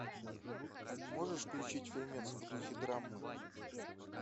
можешь включить фильмец в духе драмы